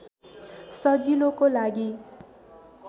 सजिलोको लागि